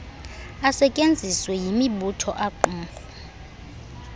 asetyenziswe yimibutho aaqumrhu